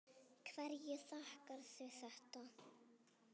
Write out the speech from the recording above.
Hverju þakkarðu þetta?